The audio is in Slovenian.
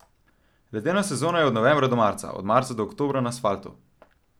Ledena sezona je od novembra do marca, od marca do oktobra na asfaltu.